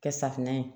Kɛ safunɛ ye